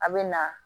A bɛ na